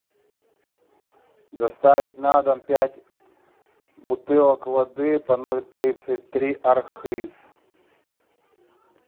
доставить на дом пять бутылок воды по ноль тридцать три архыз